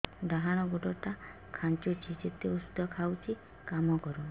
ଡାହାଣ ଗୁଡ଼ ଟା ଖାନ୍ଚୁଚି ଯେତେ ଉଷ୍ଧ ଖାଉଛି କାମ କରୁନି